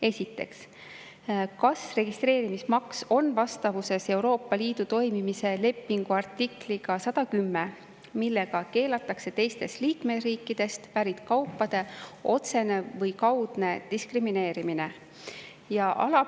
Esiteks, kas registreerimis on vastavuses Euroopa Liidu toimimise lepingu artikliga 110, millega keelatakse teistest liikmesriikidest pärit kaupade otsene või kaudne diskrimineerimine?